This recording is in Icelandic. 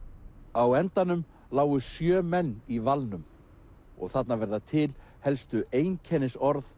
á endanum lágu sjö menn í valnum og þarna verða til helstu einkennisorð